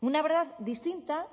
una verdad distinta